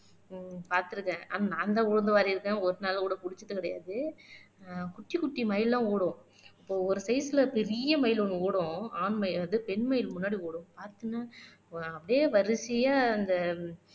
ஹம் பார்த்து இருக்கேன் ஆனா நான்தான் உளுந்து வாரி இருக்கேன் ஒரு நாள் கூட குடிச்சது கிடையாது ஆஹ் குட்டி குட்டி மயில் எல்லாம் ஓடும் இப்போ ஒரு டேய்ஸ்ல பெரிய மயில் ஒண்ணு ஓடும் ஆண் மயில் வந்து பெண் மயில் முன்னாடி ஓடும் பார்த்தின அப்படியே வரிசையா அந்த